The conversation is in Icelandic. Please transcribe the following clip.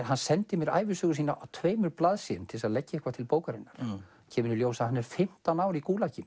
hann sendi mér ævisögu sína á tveimur blaðsíðum til að leggja eitthvað til bókarinnar kemur í ljós að hann er fimmtán ár í